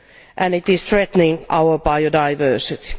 and it is threatening our biodiversity.